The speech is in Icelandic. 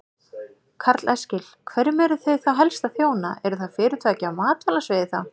Karl Eskil: Hverjum eruð þið þá helst að þjóna, eru það fyrirtæki á matvælasviði þá?